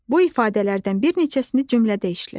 Bu ifadələrdən bir neçəsini cümlədə işlət.